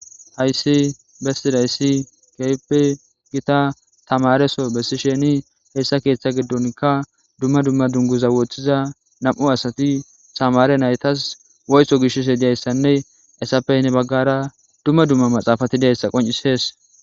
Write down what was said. Hayssi bestidayssi keepe gita tamareso bessi sheni heessa keeththa giddonkka dumma dumma dunguza woththiza nam'u asati tamare naytas woyto gishise diyayssanne esappey ne baggara dumma dumma maxaafati diyayssa qoncisees.